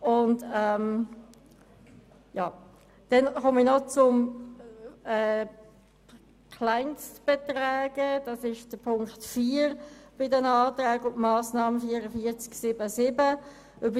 Ich gehe noch auf die Planungserklärung 4 betreffend die Kleinstbeträge gemäss Massnahme 44.7.7 ein.